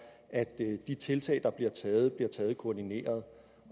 at de tiltag der bliver taget bliver taget koordineret